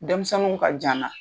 Denmisɛniw ka jan n na.